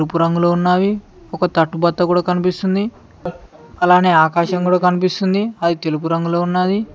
ఎరుపు రంగులో ఉన్నావి ఒక తట్టు బత్త కూడా కనిపిస్తుంది అలానే ఆకాశం కూడా కనిపిస్తుంది అది తెలుపు రంగులో ఉన్నాది.